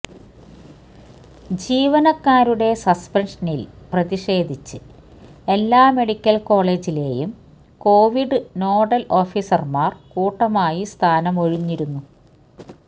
ജീവനക്കാരുടെ സസ്പെൻഷനിൽ പ്രതിഷേധിച്ച് എല്ലാ മെഡിക്കൽ കോളജിലെയും കൊവിഡ് നോഡൽ ഓഫീസർമാർ കൂട്ടമായി സ്ഥാനമൊഴിഞ്ഞിരുന്നു